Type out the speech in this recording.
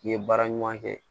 N'i ye baara ɲuman kɛ